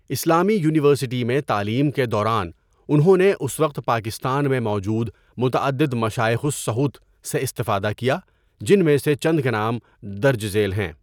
اسلامی یونیورسٹی میں تعلیم کے دوران انہوں اس وقت پاكستان ميں موجود متعدد مشائخ الصحوة سے استفادہ كيا جن ميں سے چند کے نام درج ذیل ہیں.